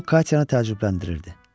Bu Katyanı təəccübləndirirdi.